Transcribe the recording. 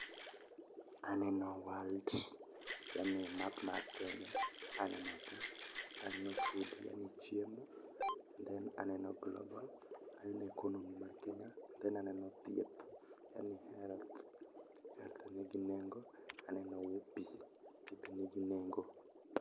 Aneno world yani map mar kenya, aneno otas, aneno food yani chiemo, then aneno global aneno economy mar kenya, then aneno thieth yani health health nigi nengo, aneno pii pii be nigi nengo.